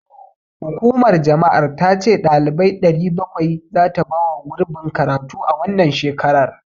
Hukumar jama'ar ta ce ɗalibai 700 zata bawa gurbin karatu a wannan shekarar.